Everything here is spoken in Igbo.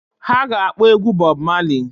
Ha ga-akpọ egwu Bob Marley.